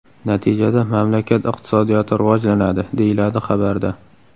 Natijada mamlakat iqtisodiyoti rivojlanadi”, deyiladi xabarda.